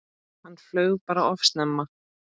Hann flaug bara of snemma.